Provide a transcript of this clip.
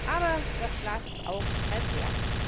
Aber das Glas ist auch halb leer.